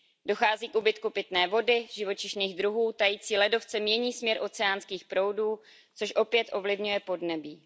Dochází k úbytku pitné vody, živočišných druhů, tající ledovce mění směr oceánských proudů, což opět ovlivňuje podnebí.